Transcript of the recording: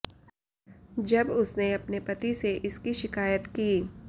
जब उसने अपने पति से इसकी शिकायत की